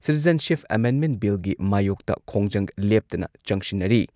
Citizenship amendment ꯕꯤꯜꯒꯤ ꯃꯥꯌꯣꯛꯇ ꯈꯣꯡꯖꯪ ꯂꯦꯞꯇꯅ ꯆꯪꯁꯤꯟꯅꯔꯤ꯫